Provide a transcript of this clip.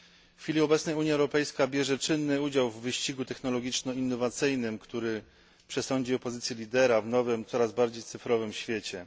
W chwili obecnej Unia Europejska bierze czynny udział w wyścigu technologiczno innowacyjnym, który przesądzi o pozycji lidera w nowym, coraz bardziej cyfrowym świecie.